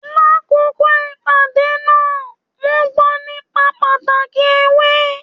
L'akoko ìpàdé náà, wọn gbọ nípa pàtàkì ewé.